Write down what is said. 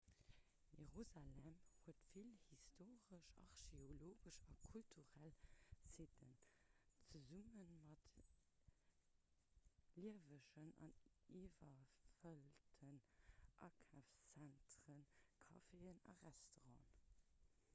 jerusalem huet vill historesch archeologesch a kulturell sitten zesumme mat liewegen an iwwerfëllten akafszentren caféen a restauranten